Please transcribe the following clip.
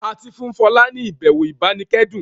A tí fún Fola ní ibẹwò ibanikẹdun